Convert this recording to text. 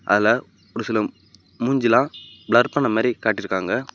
அதுல ஒரு சில மூஞ்சிலம் பிளர் பண்ண மாரி காட்டி இருகாங்க.